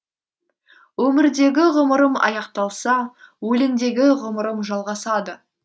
өмірдегі ғұмырым аяқталса өлеңдегі ғұмырым жалғасады